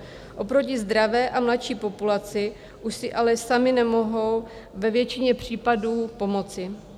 Oproti zdravé a mladší populaci už si ale sami nemohou ve většině případů pomoci.